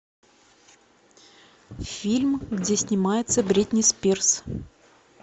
фильм где снимается бритни спирс